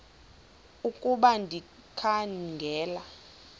ukuba ndikha ngela